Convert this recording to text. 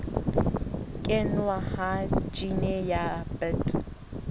kenngwa ha jine ya bt